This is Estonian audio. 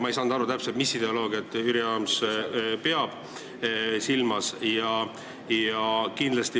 Ma ei saanud täpselt aru, mis ideoloogiat Jüri Adams silmas pidas.